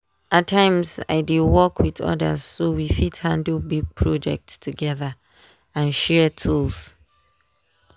at times i dey work with others so we fit handle big project together and share tools.